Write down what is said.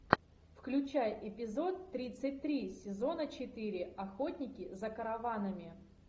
включай эпизод тридцать три сезона четыре охотники за караванами